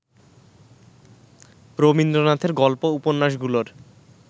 রবীন্দ্রনাথের গল্প উপন্যাসগুলোর